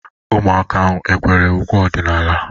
Ụmụaka ahu ekwere ukwe ọdịnala?